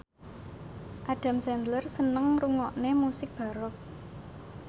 Adam Sandler seneng ngrungokne musik baroque